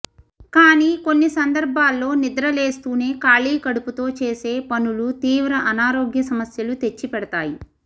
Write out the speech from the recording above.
కానీ కొన్నిసందర్భాల్లో నిద్రలేస్తూనే ఖాళీ కడుపుతో చేసే పనులు తీవ్ర అనారోగ్య సమస్యలు తెచ్చిపెడతాయి